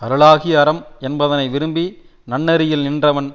அருளாகிய அறம் என்பதனை விரும்பி நன்னெறியில் நின்றவன்